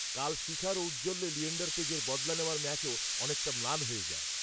কাল শিখার ঔজ্জ্বল্যে লিয়েণ্ডার পেজের বদলা নেওয়ার ম্যাচও অনেকটা ম্লান হয়ে যায়